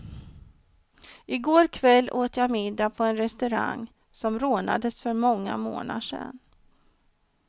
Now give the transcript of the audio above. I går kväll åt jag middag på en restaurang som rånades för många månader sedan.